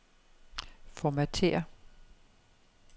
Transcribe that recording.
Formatér.